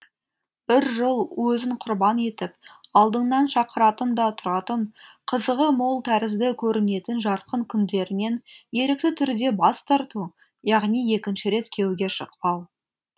бір жол өзін құрбан етіп алдыңнан шақыратын да тұратын қызығы мол тәрізді көрінетін жарқын күндерінен ерікті түрде бас тарту яғни екінші рет күйеуге шықпау